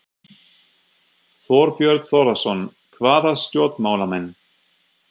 Þorbjörn Þórðarson: Hvaða stjórnmálamenn?